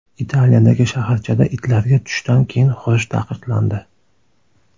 Italiyadagi shaharchada itlarga tushdan keyin hurish taqiqlandi.